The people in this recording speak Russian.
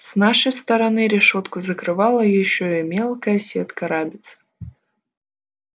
с нашей стороны решётку закрывала ещё и мелкая сетка рабиц